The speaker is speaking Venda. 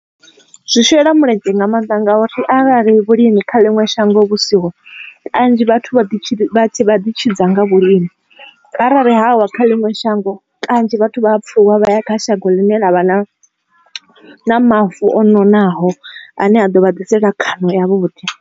zwi shela mulenzhe nga mannḓa ngauri arali vhulimi kha ḽiṅwe shango vhusiho kanzhi vhathu vha ḓi tshidza nga vhulimi arali havha kha ḽiṅwe shango kanzhi vhathu vha ya pfhuluwa vha ya kha shango ḽine ḽavha na mavu o nonaho ane a ḓo vha ḓisela khono ya vhuḓi.